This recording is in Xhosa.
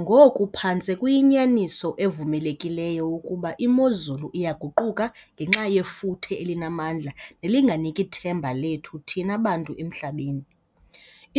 Ngoku phantse kuyinyaniso evumelekileyo ukuba imozulu iyaguquka ngenxa yefuthe elinamandla nelinganiki themba lethu thina bantu emhlabeni.